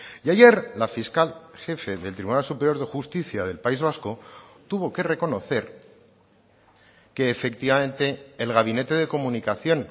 y ayer la fiscal jefe del tribunal superior de justicia del país vasco tuvo que reconocer que efectivamente el gabinete de comunicación